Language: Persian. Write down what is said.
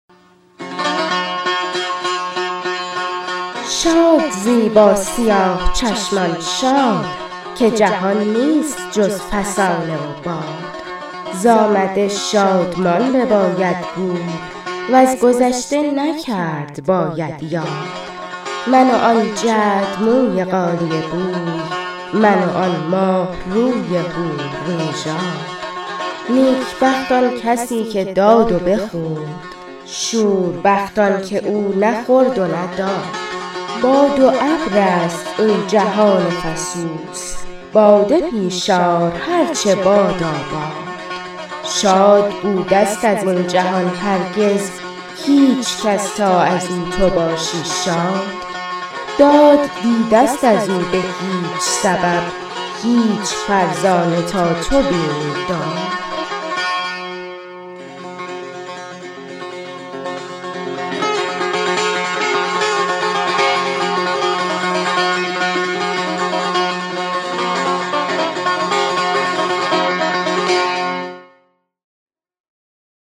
شاد زی با سیاه چشمان شاد که جهان نیست جز فسانه و باد ز آمده شادمان بباید بود وز گذشته نکرد باید یاد من و آن جعدموی غالیه بوی من و آن ماهروی حورنژاد نیک بخت آن کسی که داد و بخورد شوربخت آن که او نه خورد و نه داد باد و ابر است این جهان فسوس باده پیش آر هرچه باداباد شاد بوده ست از این جهان هرگز هیچ کس تا از او تو باشی شاد داد دیده ست از او به هیچ سبب هیچ فرزانه تا تو بینی داد